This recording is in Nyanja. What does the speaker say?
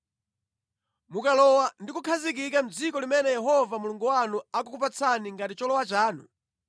Mukalowa ndi kukhazikika mʼdziko limene Yehova Mulungu wanu akukupatsani ngati cholowa chanu,